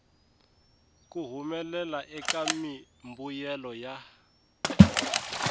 ku humelela eka mimbuyelo ya